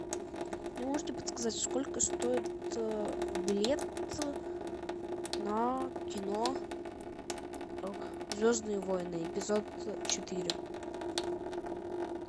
не можете подсказать сколько стоит билет на кино звездные войны эпизод четыре